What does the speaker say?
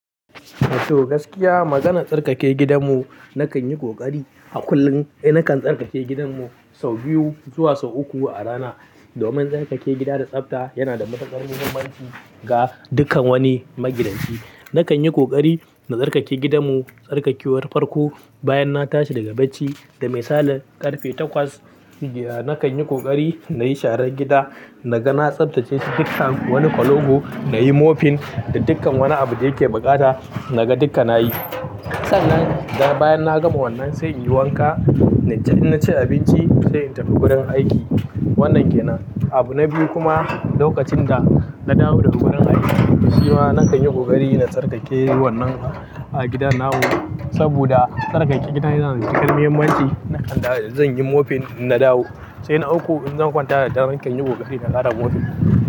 To, gaskiya maganar tsarkake gidanmu, na kan yi ƙoƙari a kullum. Eh, na kan tsarkake gidanmu sau biyu zuwa sau uku a rana. Domin tsarkake gida da tsafta yana da matuƙar muhimmanci ga dukkan wani magidanci. Na kan yi ƙoƙari na tsarkake gidanmu, tsarkakewar farko bayan na tashi daga bacci, da mai sale ƙarfe takwas. Naka yi ƙoƙari na yi sharan gida, na ga na tsaftace shi dukkan wani ƙwalogo, na yi mofin da dukkan wani abu da yake baƙata na gan dukka na yi. Sannan, bayan na gama wannan sai in yi wanka, in na ci abinci sai in tafi wurin aiki. Wannan ke nan. Abu na biyu kuma lokacin da na dawo daga wurin aiki, shi ma na kan yi ƙoƙari na tsarkake wannan a gidana na. Saboda tsarkake gida yana da cikar muhimmanci. Na kan da zan yi mofin in na dawo. Sai na ɗauko in zan kwanta da na kan yi ƙoƙari na ƙara mofin.